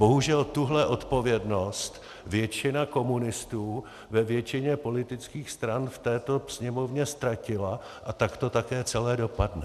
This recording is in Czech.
Bohužel, tuhle odpovědnost většina komunistů ve většině politických stran v této Sněmovně ztratila a tak to také celé dopadne.